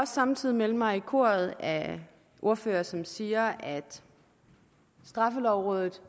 samtidig melde mig i koret af ordførere som siger at straffelovrådet